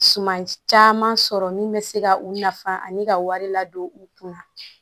Siman caman sɔrɔ min bɛ se ka u nafa ani ka wari ladon u kunna